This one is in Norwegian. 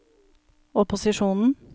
opposisjonen